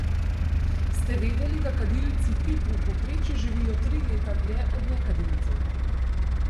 Ste vedeli, da kadilci pip v povprečju živijo tri leta dlje od nekadilcev?